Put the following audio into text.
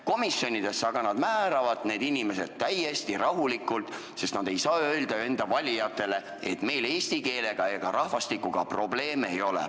Komisjonidesse aga määravad nad need inimesed täiesti rahulikult, sest nad ei saa öelda enda valijatele, et meil eesti keelega ega rahvastikuga probleeme ei ole.